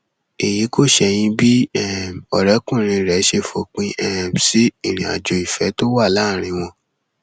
èyí kò ṣẹyìn bí um ọrẹkùnrin rẹ ṣe fòpin um sí ìrìnàjò ìfẹ tó wà láàrin wọn